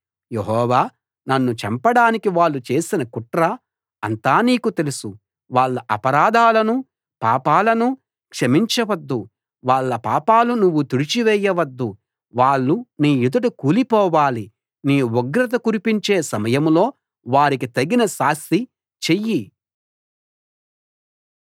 యెహోవా నన్ను చంపడానికి వాళ్ళు చేసిన కుట్ర అంతా నీకు తెలుసు వాళ్ళ అపరాధాలనూ పాపాలనూ క్షమించవద్దు వాళ్ళ పాపాలు నువ్వు తుడిచి వేయవద్దు వాళ్ళు నీ ఎదుట కూలిపోవాలి నీ ఉగ్రత కురిపించే సమయంలో వారికి తగిన శాస్తి చెయ్యి